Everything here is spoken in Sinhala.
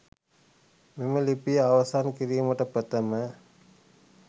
මෙම ලිපිය අවසන් කිරීමට ප්‍රථම